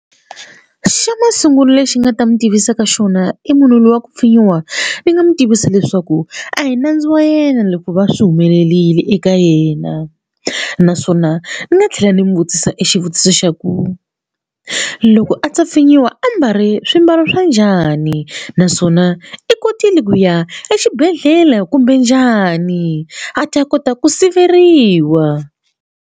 Xa masungulo lexi ni nga ta mi tivisaka xona i munhu luya ku pfinyiwa ni nga n'wi tivisa leswaku a hi nandzu wa yena loko va swi humelerile eka yena naswona ni nga tlhela ndzi n'wi vutisa e xivutiso xa ku loko a ta pfinyiwa a mbale swimbalo swa njhani naswona i kotile ku ya exibedhlele kumbe njhani a ta kota ku siveriwa.